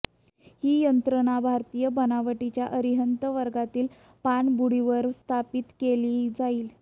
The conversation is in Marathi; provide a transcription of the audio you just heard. ही यंत्रणा भारतीय बनावटीच्या अरिहंत वर्गातील पाणबुडीवर स्थापित केली जाईल